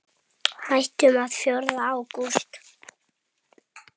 Hættum fjórða ágúst.